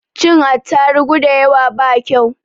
Cin atarugu dayawa ba kau